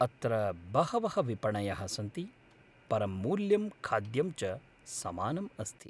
अत्र बहवः विपणयः सन्ति, परं मूल्यं खाद्यं च समानम् अस्ति।